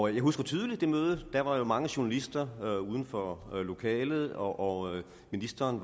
jeg husker tydeligt det møde der var jo mange journalister uden for lokalet og ministeren